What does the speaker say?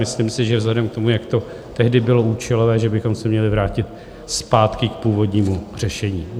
Myslím si, že vzhledem k tomu, jak to tehdy bylo účelové, že bychom se měli vrátit zpátky k původnímu řešení.